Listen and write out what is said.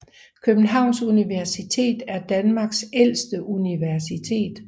Københavns Universitet er Danmarks ældste universitet